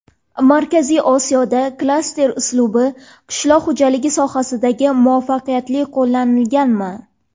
Markaziy Osiyoda klaster uslubi qishloq xo‘jaligi sohasida muvaffaqiyatli qo‘llanilganmi?